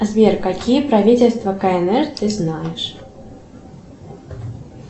сбер какие правительства кнр ты знаешь